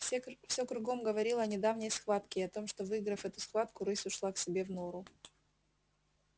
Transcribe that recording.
все всё кругом говорило о недавней схватке и о том что выиграв эту схватку рысь ушла к себе в нору